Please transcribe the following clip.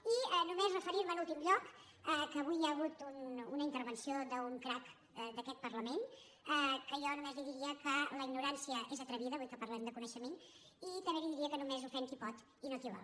i només referir·me en últim lloc que avui hi ha hagut una intervenció d’un crac d’aquest parlament que jo només li diria que la ignorància és atrevida avui que parlem de coneixement i també li diria que només ofèn qui pot i no qui vol